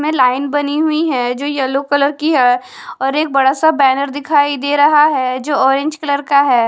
में लाइन बनी हुई है जो येलो कलर की है और एक बड़ा सा बैनर दिखाई दे रहा है जो ऑरेंज कलर का है।